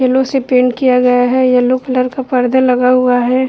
Yellow से paint किया गया है। येलो कलर का पर्दा लगा हुआ है|